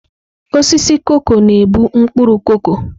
Osisi koko na-ebu mkpuru koko.